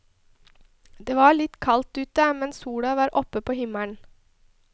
Det var litt kaldt ute, men sola var oppe på himmelen.